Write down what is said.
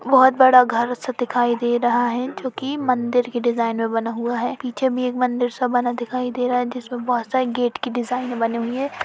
बहोत बड़ा घर सा दिखाई दे रहा है जोकि मंदिर कि डिज़ाइन में बना हुआ है। पीछे भी एक मंदिर सा बना दिखाई दे रहा है जिसमें बहोत सारे गेट की डिज़ाइनें बनी हुई हैं।